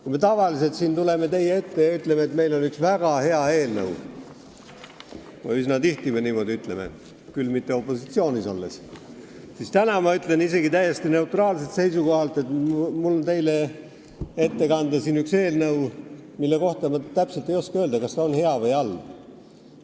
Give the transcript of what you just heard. Kui me tavaliselt tuleme siia teie ette ja ütleme, et meil on üks väga hea eelnõu – üsna tihti me niimoodi teeme, küll mitte opositsioonis olles –, siis täna ma teatan täiesti neutraalselt seisukohalt, et mul on teile siin ette kanda üks eelnõu, mille kohta ma ei oska öelda, kas see on hea või halb.